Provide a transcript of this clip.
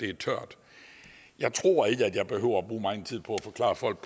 er tørt jeg tror ikke at jeg behøver at bruge megen tid på at forklare folk